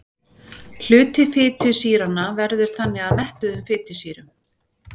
Hluti fitusýranna veður þannig að mettuðum sýrum.